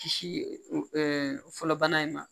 Kisi fɔlɔbana in na